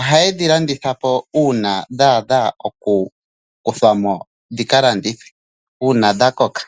Ohaye dhi landitha po uuna dha adha okukuthwa mo dhi ka landithwe uuna dha koka.